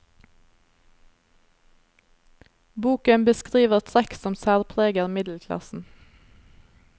Boken beskriver trekk som særpreger middelklassen.